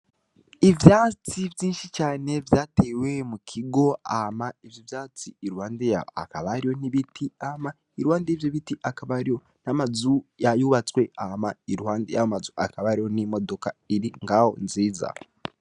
Ivyatsi vyinshi cane vyatewe mu kigo, hama ivyo vyatsi, iruhande yaho hakaba hariho hariho n'ibiti, hama iruhande y'ivyo biti hakaba hariho n'amazu yubatswe. Hama, iruhande y'ayo mazu hakaba hariho n'imodoka iri ngaho nziza.